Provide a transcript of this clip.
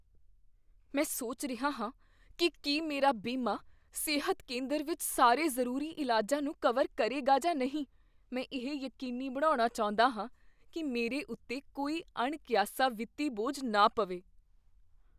ਮੈਂ ਸੋਚ ਰਿਹਾ ਹਾਂ ਕੀ ਕੀ ਮੇਰਾ ਬੀਮਾ ਸਿਹਤ ਕੇਂਦਰ ਵਿੱਚ ਸਾਰੇ ਜ਼ਰੂਰੀ ਇਲਾਜਾਂ ਨੂੰ ਕਵਰ ਕਰੇਗਾ ਜਾਂ ਨਹੀਂ। ਮੈਂ ਇਹ ਯਕੀਨੀ ਬਣਾਉਣਾ ਚਾਹੁੰਦਾ ਹਾਂ ਕੀ ਮੇਰੇ ਉੱਤੇ ਕੋਈ ਅਣਕੀਆਸਾ ਵਿੱਤੀ ਬੋਝ ਨਾ ਪਵੇ।